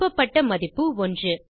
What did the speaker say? திருப்பப்பட்ட மதிப்பு ஒன்று